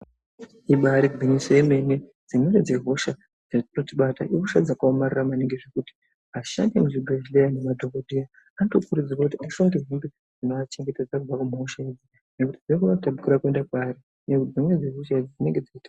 Ibari gwinyiso yemene dzimweni dzehosha dzinotibata ihosha dzakaomarara maningi zvekuti ashandi emuzvibhedhlera nemadhokodheya anotokurudzirwa kuti ashonge nhumbi dzinoachengetedza kubva muhosha idzi nekuti dzinokona kutapukira kuenda kwaari nekuti dzimweni dzehosha idzi dzinemge dzeitapukira.